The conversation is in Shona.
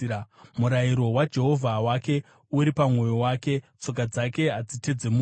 Murayiro waMwari wake uri pamwoyo wake; tsoka dzake hadzitedzemuki.